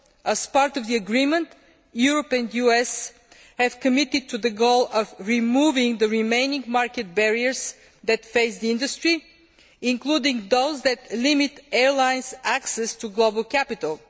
As part of the agreement, Europe and the United States have committed to the goal of removing the remaining market barriers that face the industry, including those that limit airlines' access to global capital.